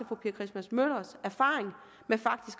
fru pia christmas møllers erfaring